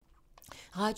Radio 4